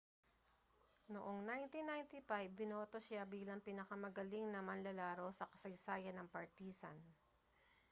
noong 1995 ibinoto siya bilang pinakamagaling na manlalaro sa kasaysayan ng partizan